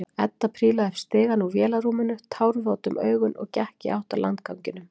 Edda prílaði upp stigann úr vélarrúminu, tárvot um augun og gekk í átt að landganginum.